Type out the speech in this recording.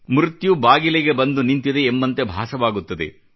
ಮೃತ್ಯು ಬಾಗಿಲಿಗೆ ಬಂದು ನಿಂತಿದೆ ಎಂಬಂತೆ ಭಾಸವಾಗುತ್ತದೆ